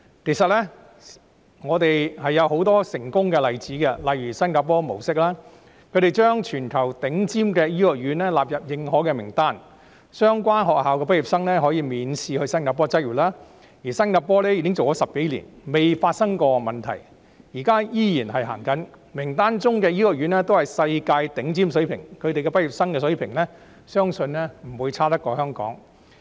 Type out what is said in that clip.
其實，我們可借鏡很多成功的例子，例如新加坡模式，他們將全球頂尖的醫學院納入認可名單，讓其畢業生可以免試到新加坡執業，而新加坡已經落實有關制度10多年，從未發生問題，現在依然施行，名單中的醫學院均達世界頂尖水平，其畢業生水平相信不會比香港遜色。